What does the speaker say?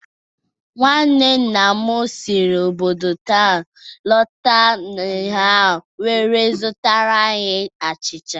Nwanne nna m si obodo nta ahụ lọta ụnyahụ wee zụtara anyị achịcha.